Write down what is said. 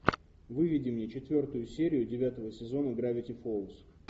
выведи мне четвертую серию девятого сезона гравити фолз